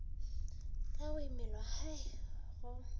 ka go imelwa hai go